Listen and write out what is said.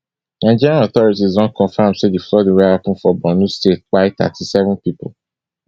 nigerian authorities don confam say di flooding wey happun for borno state kpai thirty-seven pipo